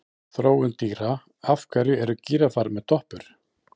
Þróun dýra Af hverju eru gíraffar með doppur?